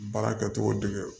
Baara kɛcogo dege